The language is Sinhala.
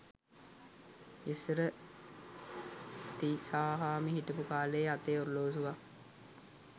ඉස්සර තිසාහාමි හිටපු කාලයේ අතේ ඔරලෝසුවක්